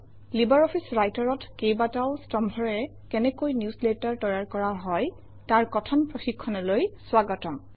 LibreOffice Writer অত কেইবাটাও স্তম্ভৰে কেনেকৈ নিউজলেটাৰ তৈয়াৰ কৰা হয় তাৰ কথন প্ৰশিক্ষণলৈ স্বাগতম